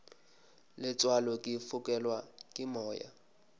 letswalo ke fokelwa ke moya